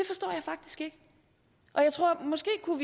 er